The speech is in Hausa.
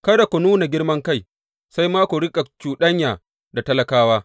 Kada ku nuna girman kai, sai ma ku riƙa cuɗanya da talakawa.